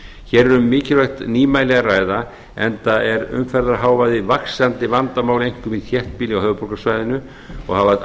hér er um mikilvægt nýmæli að ræða enda er umferðarhávaði vaxandi vandamál einkum í þéttbýli á höfuðborgarsvæðinu og hafa